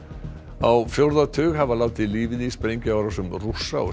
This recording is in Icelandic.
á fjórða tug hafa látið lífið í sprengjuárásum Rússa og